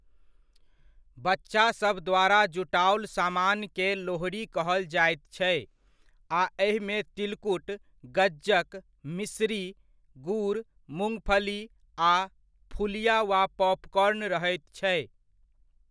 बच्चासभ द्वारा जुटाओल सामानकेँ लोहड़ी कहल जायत छै आ एहिमे तिलकुट, गज्जक, मिश्री, गुड़, मूंगफली आ फुलिया वा पॉपकॉर्न रहैत छै।